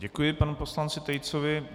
Děkuji panu poslanci Tejcovi.